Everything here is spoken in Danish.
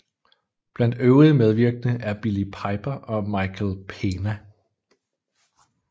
Blandt øvrige medvirkende er Billie Piper og Michael Pena